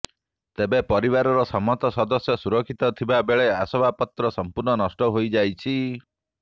ତେବେ ପରିବାରର ସମସ୍ତ ସଦସ୍ୟ ସୁରକ୍ଷିତ ଥିବା ବେଳେ ଆସବାପତ୍ର ସମ୍ପୂର୍ଣ୍ଣ ନଷ୍ଟ ହୋଇଯାଇଛି